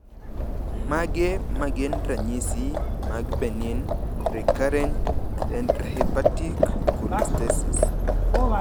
Mage magin ranyisi mag Benign recurrent intrahepatic cholestasis?